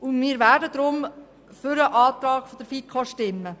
Aus diesem Grund werden wir für den Antrag der FiKo stimmen.